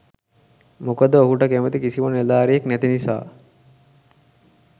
මොකද ඔහුට කැමති කිසිම නිලධාරියෙක් නැති නිසා.